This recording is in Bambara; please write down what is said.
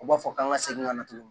U b'a fɔ k'an ka segin ka na tuguni